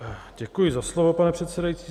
Děkuji za slovo, pane předsedající.